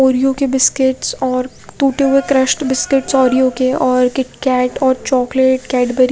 Oreo के biscuit और टूटे हुए क्रशड ओरिओ के और किटकैट और चॉकलेट कैडबरी --